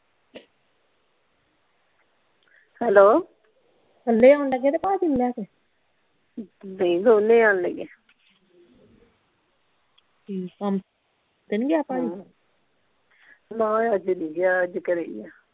hello ਕੱਲੇ ਆਉਣ ਲੱਗੇ ਕੇ ਭਾਜੀ ਨੂੰ ਲੈ ਕੇ ਨਹੀਂ ਦੋਨੇ ਆਉਣ ਲੱਗੇ ਆਂ ਠੀਕ ਆ ਕੰਮ ਤੇ ਨਹੀਂ ਗਿਆ ਭਾਜੀ ਨਹੀਂ ਅੱਜ ਨਹੀਂ ਗਿਆ ਅੱਜ ਘਰੇ ਹੀ ਆ